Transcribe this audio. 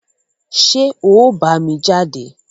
ṣé ọ̀ ọ́ bámi jáde?